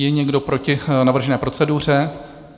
Je někdo proti navržené proceduře?